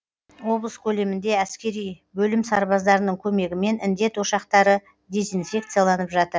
облыс көлемінде әскери бөлім сарбаздарының көмегімен індет ошақтары дезинфекцияланып жатыр